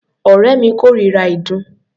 Ọ̀rẹ́ mi kórira ìdun.